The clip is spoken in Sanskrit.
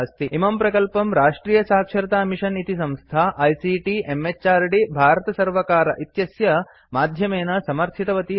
इमं प्रकल्पं राष्ट्रियसाक्षरतामिषन् इति संस्था आईसीटी म्हृद् भारतसर्वकार इत्यस्य माध्यमेन समर्थितवती अस्ति